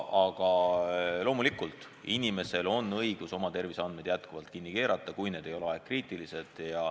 Aga loomulikult on inimesel õigus oma terviseandmeid kinni keerata, kui need ei ole ajakriitilised.